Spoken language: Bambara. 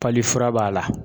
fura b'a la.